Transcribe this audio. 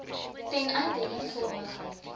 ten einde eenvormigheid